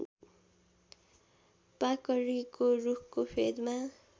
पाकरीको रूखको फेदमा